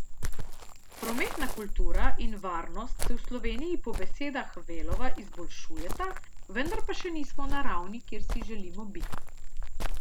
Prometna kultura in varnost se v Sloveniji po besedah Velova izboljšujeta, vendar pa še nismo na ravni, kjer si želimo biti.